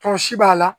Tɔ si b'a la